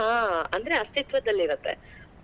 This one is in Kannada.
ಅಂದ್ರೆ ಹಾ ಅಸ್ತಿತ್ವದಲ್ಲಿರುತ್ತೆ.